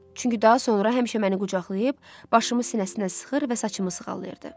Çünki daha sonra həmişə məni qucaqlayıb, başımı sinəsinə sıxır və saçımı sığallayırdı.